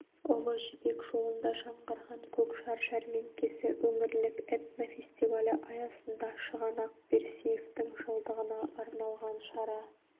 ұлы жібек жолында жаңғырған көкжар жәрмеңкесі өңірлік этнофестивалі аясында шығанақ берсиевтің жылдығына арналған шара